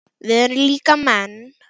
Við erum líka menn.